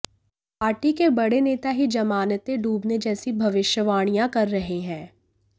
party के बड़े नेता ही जमानतें डूबने जैसी भविष्यवाणियां कर रहे हैं